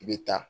I bɛ taa